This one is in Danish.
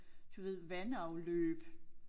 Du ved vandafløb